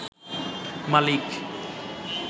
মালিক